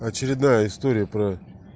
очередная история про